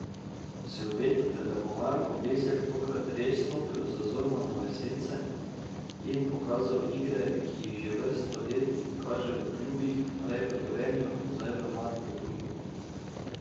Si obetate, da bo Marko Bezjak tokrat zares stopil iz Zormanove sence in pokazal igre, ki jih že vrsto let kaže v klubih, prej v Gorenju in zdaj Magdeburgu?